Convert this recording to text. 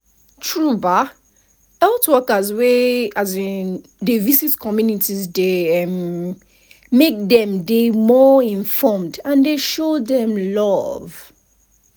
true ba health workers wey um dey visit communities dey um make dem dey more informed and dey show dem love.